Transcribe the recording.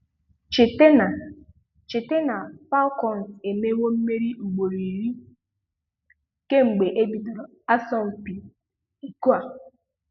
Cheta na Cheta na Falcons emewo mmeri ugboro iri kemgbe e bidoro asọmpi iko a.